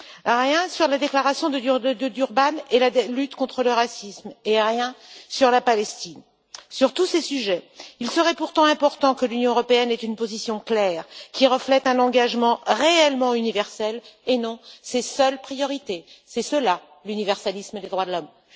Il n'y a rien sur la déclaration de Durban et la lutte contre le racisme et rien sur la Palestine. Sur tous ces sujets, il serait pourtant important que l'Union européenne ait une position claire, qui reflète un engagement réellement universel et non ses seules priorités. C'est cela l'universalisme des droits de l'homme.